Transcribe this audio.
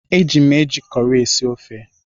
Eji m eji cọrị esi ofe.